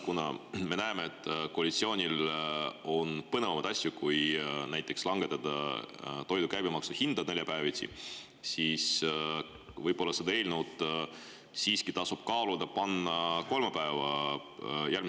Kuna me näeme, et koalitsioonil on neljapäeviti põnevamaid asju teha kui näiteks langetada toidu käibemaksu, tasub võib-olla kaaluda, et panna see eelnõu siiski järgmise nädala kolmapäeva päevakorda.